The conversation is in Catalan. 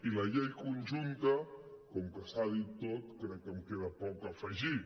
i a la llei conjunta com que s’ha dit tot crec que em queda poc a afegir